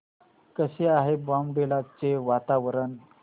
कसे आहे बॉमडिला चे वातावरण